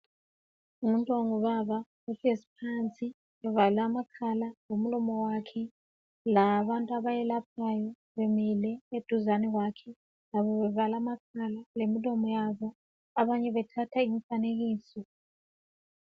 Ngumuntu ongubaba uhlezi phansi, uvale amakhala lomlomowakhe, labantu abayelaphayo bemile eduzene kwakhe labo bevale amakhala lemilomo yabo, abanye bethatha imifanekiso.